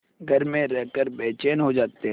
घर में रहकर बेचैन हो जाते हैं